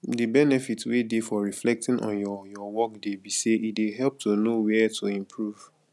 di benefit wey dey for reflecting on your your workday be say e dey help to know where to improve